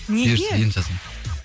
неге бұйыртса енді жазамын